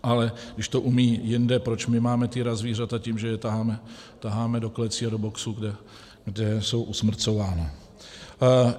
Ale když to umí jinde, proč my máme týrat zvířata tím, že je taháme do klecí a do boxů, kde jsou usmrcována.